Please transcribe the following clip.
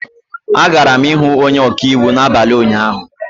Agara m ihụ onye ọka iwu n'abalị ụnyaahụ